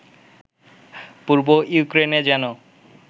পূর্ব ইউক্রেনে যেন